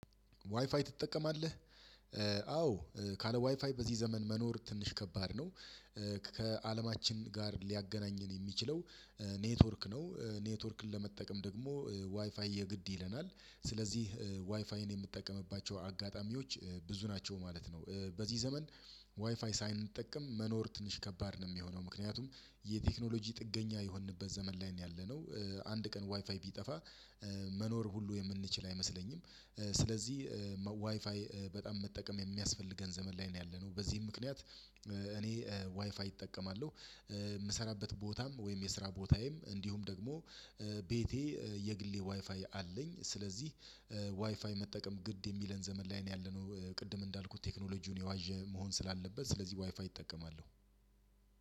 ዋይፋይ ትጠቀማለህ አዎ ካለ ዋይፋይ በዚህ ዘመን መኖር ትንሽ ከባድ ነው። ከአለማችን ጋር ሊያገናኘን የሚችለው ኔትወርክ ነው። ኔትወርክን ለመጠቀም ደግሞ ዋይፋይ የግድ ይለናል ስለዚህ ዋይፋይን የምትጠቀምባቸው አጋጣሚዎች ብዙ ናቸው ማለት ነው። በዚህ ዘመን ዋይፋይ ሳይንጠቀም መኖር ትንሽ ከባድ ነው የሚሆነው ምክንያቱም የቴክኖሎጂ ጥገኛ የሆንንበት ዘመን ላይ ነው ያለነው። አንድ ቀን ዋይፋይ ቢጠፋ መኖር ሁሉ የምንችል አይመስለኝም። ስለዚህ ዋይፋይ በጣም መጠቀም የሚያስፈልገን ዘመን ላይ ነው ያለነው። በዚህም ምክንያት እኔ ዋይፋይ እጠቀማለሁ። የምሰራበት ቦታም ወይም የስራ ቦታዬም እንዲሁም ደግሞ ቤቴ የግሌ ዋይፋይ አለኝ። ስለዚህ ዋይፋይ መጠቀም ግድ የሚለን ዘመን ላይ ነው ያለነው። ቅድም እንዳልኩት ቴክኖሎጂውን የዋዠ መሆን ስላለበት ስለዚህ ዋይፋይ እጠቀማለሁ።